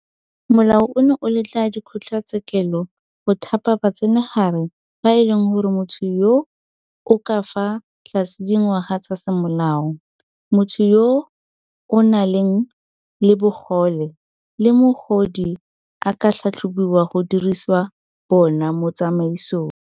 Molao ono o letla dikgotlatshekelo go thapa batsenagare ba e leng gore motho yo o ka fa tlase ga dingwaga tsa semolao, motho yo o nang le bogole le mogodi a ka tlhatlhobiwa go dirisiwa bona mo tsamaisong.